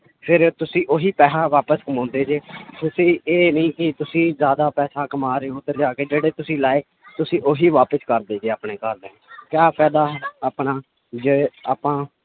ਫਿਰ ਤੁਸੀਂ ਉਹੀ ਪੈਸਾ ਵਾਪਸ ਕਮਾਉਂਦੇ ਜੇ ਤੁਸੀਂ ਇਹ ਨੀ ਕਿ ਤੁਸੀਂ ਜ਼ਿਆਦਾ ਪੈਸਾ ਕਮਾ ਰਹੇ ਹੋ ਉੱਧਰ ਜਾ ਕੇ ਜਿਹੜੇ ਤੁਸੀਂ ਲਾਏ ਤੁਸੀਂ ਉਹੀ ਵਾਪਸ ਕਰਦੇ ਜੇ ਘਰ ਕਿਆ ਫਾਇਦਾ ਆਪਣਾ ਜੇ ਆਪਾਂ